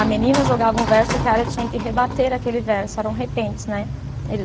A menina jogava um verso, o cara tinha que rebater aquele verso, eram repentes, né?